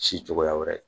Si cogoya wɛrɛ ye